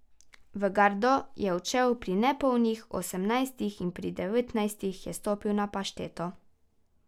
V gardo je odšel pri nepolnih osemnajstih in pri devetnajstih je stopil na pašteto.